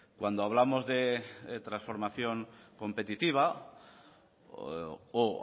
cuando hablamos de transformación competitiva o